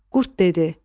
Qurd dedi: